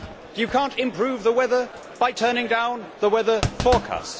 You cannot improve the weather by turning down the weather forecast.